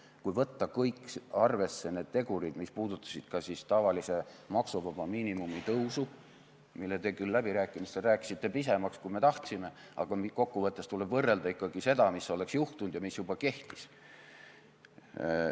Tuleks võtta arvesse kõik need tegurid, mis puudutasid ka tavalise maksuvaba miinimumi tõusu, mille te küll läbirääkimistel rääkisite pisemaks, kui me tahtsime, aga kokkuvõttes tuleb võrrelda ikkagi seda, mis oleks juhtunud ja mis juba kehtis.